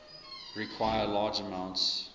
require large amounts